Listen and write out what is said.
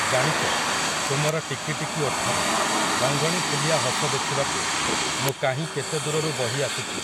ଜାଣିଚ, ତୁମର ଟିକି ଟିକି ଓଠରେ, ରଙ୍ଗଣୀଫୁଲିଆ ହସ ଦେଖିବାକୁ, ମୁଁ କାହିଁ କେତେ ଦୂରରୁ ବହି ଆସୁଚି ।